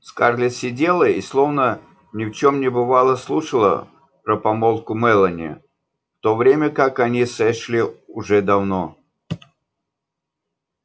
скарлетт сидела и словно ни в чем не бывало слушала про помолвку мелани в то время как они с эшли уже давно